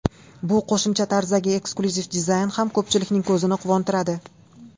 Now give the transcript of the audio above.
Bu qo‘shimcha tarzdagi eksklyuziv dizayn ham ko‘pchilikning ko‘zini quvontiradi.